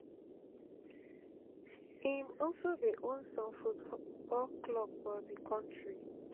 im also dey own some football clubs for di kontri